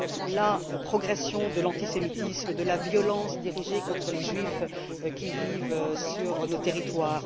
la progression de l'antisémitisme, de la violence dirigée contre les Juifs qui vivent sur nos territoires.